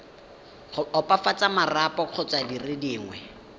opafatsa marapo kgotsa dire dingwe